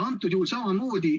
Praegusel juhul samamoodi.